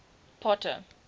potter